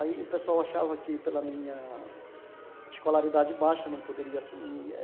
Aí o pessoal achava que pela minha escolaridade baixa não poderia assumir.